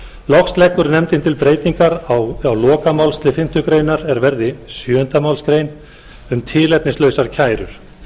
loks leggur nefndin til breytingar á lokamálslið fimmtu málsgrein er verði sjöunda málsgrein um tilefnislausar kærur